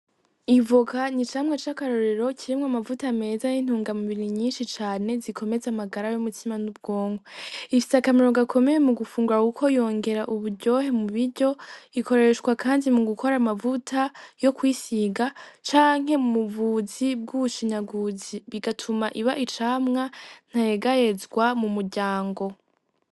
Ivoka n'icamwa c'akarorero kirimwo amavuta meza y'intungamubiri nyinshi cane zikomeza amagara y'umutima n'ubwonko, ifise akamaro gakomeye mu gufungura kuko yongera uburyohe mu biryo, ikoreshwa kandi mu gukora amavuta yo kwisiga canke mu buvuzi bw'ubushinyaguzi, bigatuma iba icamwa ntayegayezwa mu muryango.